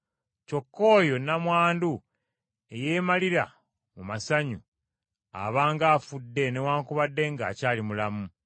Kyokka oyo nnamwandu eyeemalira mu masanyu, aba ng’afudde, newaakubadde ng’akyali mulamu.